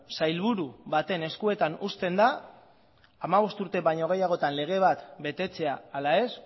sailburu baten eskuetan uzten da hamabost urte baino gehiagotan lege bat betetzea ala ez